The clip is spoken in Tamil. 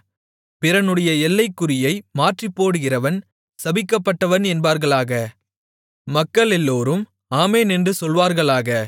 பிறனுடைய எல்லைக்குறியை மாற்றிப்போடுகிறவன் சபிக்கப்பட்டவன் என்பார்களாக மக்களெல்லோரும் ஆமென் என்று சொல்வார்களாக